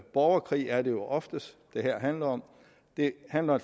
borgerkrig er det jo ofte som det her handler om det handler